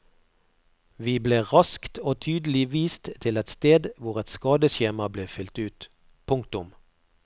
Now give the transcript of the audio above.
Vi ble raskt og tydelig vist til et sted hvor et skadeskjema ble fyllt ut. punktum